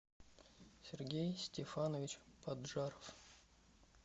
сергей стефанович поджаров